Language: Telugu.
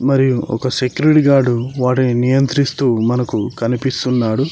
మరియు ఒక సెక్యూరిటీ గార్డ్ వాటిని నియంత్రిస్తూ మనకు కనిపిస్తున్నాడు.